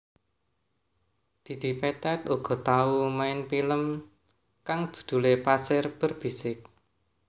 Didi Petet uga tau main film kang judhulé Pasir Berbisik